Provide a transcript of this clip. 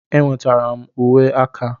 Enwetara m uwe aka.